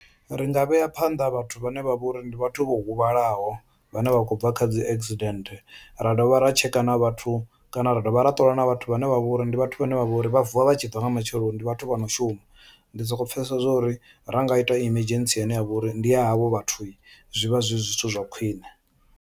Ri nga vhea phanḓa vhathu vhane vha vha uri ndi vhathu vho huvhalaho vhane vha khou bva kha dzi accident ra dovha ra tsheka na vhathu kana ra dovha ra ṱola na vhathu vhane vha vha uri ndi vhathu vhane vha vhori vha vuwa vha tshi bva nga matsheloni ndi vhathu vha no shuma. Ndi soko pfhesesa zwa uri ra nga ita emergency ine ya vha uri ndi ya havho vhathu zwi vha zwi zwithu zwa khwiṋe.